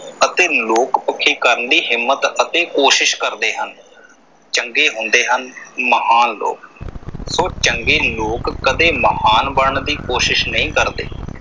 ਅਤੇ ਲੋਕ ਪੱਖੀ ਕਰਨ ਦੀ ਹਿੰਮਤ ਅਤੇ ਕੋਸ਼ਿਸ ਕਰਦੇ ਹਨ ਚੰਗੇ ਹੁੰਦੇ ਹਨ ਮਹਾਨ ਲੋਕ, ਸੋ ਚੰਗੇ ਲੋਕ ਕਦੇ ਮਹਾਨ ਬਣਨ ਦੀ ਕੋਸ਼ਿਸ ਨਈਂ ਕਰਦੇ।